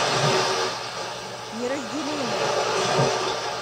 неразделимый